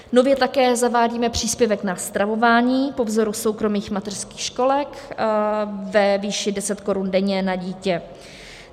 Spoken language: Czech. Nově také zavádíme příspěvek na stravování po vzoru soukromých mateřských školek ve výši deset korun denně na dítě.